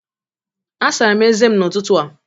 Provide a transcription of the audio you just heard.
Asara m ezé n’ụtụtụ a